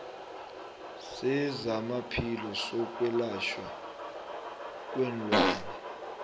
sezamaphilo sokwelatjhwa kweenlwana